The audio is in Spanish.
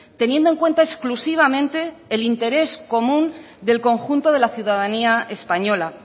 teniendo en cuenta exclusivamente el interés común del conjunto de la ciudadanía española